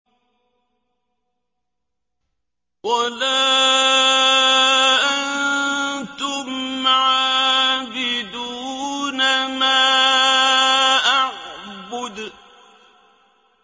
وَلَا أَنتُمْ عَابِدُونَ مَا أَعْبُدُ